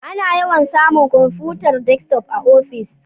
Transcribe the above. Ana yawan samun kwamfutar Desktop a ofis